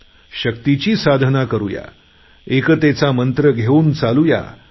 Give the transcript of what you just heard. या शक्तीची साधना करुयाएकतेचा मंत्र घेऊन चालूया